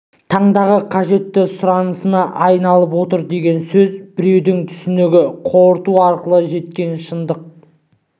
таңдағы қажетті сұранысына айналып отыр деген сөз біреудің түсінігі қорытуы арқылы жеткен шындық